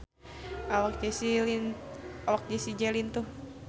Awak Jessie J lintuh